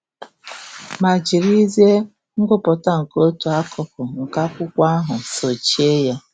ma jirizie ngụpụta nke otu akụkụ nke akwụkwọ ahụ sochie ya!